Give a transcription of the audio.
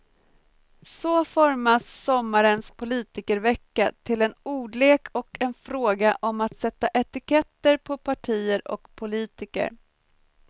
Så formas sommarens politikervecka till en ordlek och en fråga om att sätta etiketter på partier och politiker.